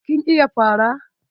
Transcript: Kin iya fara?